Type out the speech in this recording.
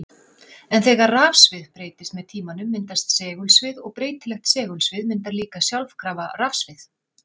En þegar rafsvið breytist með tímanum myndast segulsvið og breytilegt segulsvið myndar líka sjálfkrafa rafsvið.